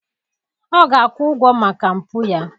Ọ ga-akwụ ụgwọ maka mpụ ya